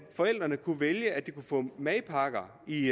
forældrene kunne vælge at få madpakker i